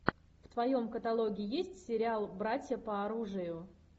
в твоем каталоге есть сериал братья по оружию